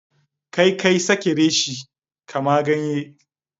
Kai kayi Sake reshe, kama ganye?